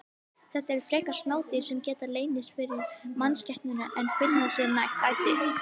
Þetta eru frekar smá dýr sem geta leynst fyrir mannskepnunni en finna sér nægt æti.